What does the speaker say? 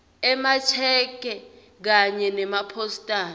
emasheke kanye nemapostal